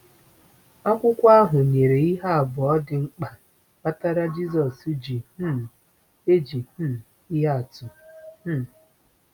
Akwụkwọ ahụ nyere ihe abụọ dị mkpa kpatara Jisọs ji um eji um ihe atụ. um